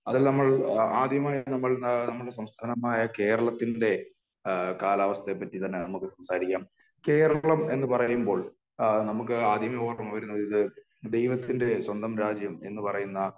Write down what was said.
അത് നമ്മൾ ആദ്യമായി നമ്മൾ നമ്മുടെ സംസ്ഥാനമായ കേരളത്തിന്റെ ആ കാലാവസ്ഥയെ പറ്റി തന്നെ നമുക്ക് സംസാരിക്കാം . കേരളം എന്ന് പറയുമ്പോൾ നമുക്ക് ആദ്യമേ ഓര്മ വരുന്നത് ദൈവത്തിന്റെ സ്വന്തം രാജ്യം എന്ന് പറയുന്ന